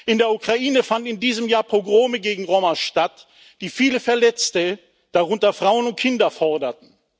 In der Ukraine fanden in diesem Jahr Pogrome gegen Roma statt, die viele Verletzte, darunter Frauen und Kinder, forderten.